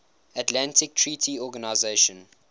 atlantic treaty organization